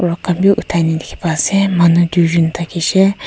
rod khan bhi uthaina dekhey pai ase manu duijun thakishe--